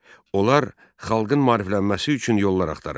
Onlar xalqın maariflənməsi üçün yollar axtarırdı.